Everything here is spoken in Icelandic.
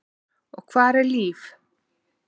Og hvar er Líf?